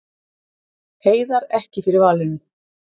Heiðar ekki fyrir valinu